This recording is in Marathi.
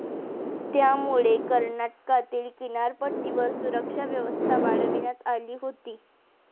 यामुळे कर्नाटकातील किनारपट्टीवर सुरक्षा व्यवस्था वाढविण्यात आली होती.